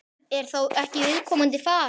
Er þá ekki viðkomandi farin?